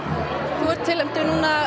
þú ert tilnefndur